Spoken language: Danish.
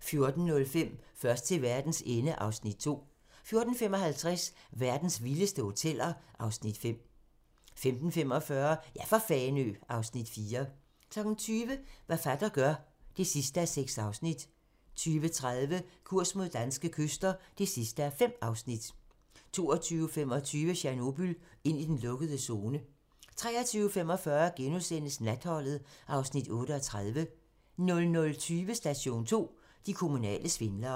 14:05: Først til verdens ende (Afs. 2) 14:55: Verdens vildeste hoteller (Afs. 5) 15:45: Ja for Fanø (Afs. 4) 20:00: Hvad Heinos fatter gør (6:6) 20:30: Kurs mod danske kyster (5:5) 22:25: Tjernobyl - ind i den lukkede zone 23:45: Natholdet (Afs. 38)* 00:20: Station 2: De kommunale svindlere